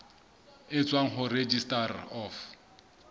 e tswang ho registrar of